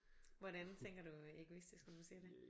Hvordan tænker du øh egoistisk når du siger det?